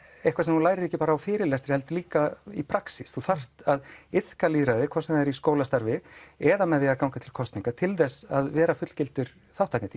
eitthvað sem þú lærir ekki bara um á fyrirlestri heldur líka í praxís þú þarft að iðka lýðræði hvort sem það er í skólastarfi eða að ganga til kosninga til að vera fullgildur þátttakandi